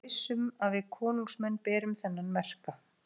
Þið megið vera viss um að við konungsmenn berum þennan merka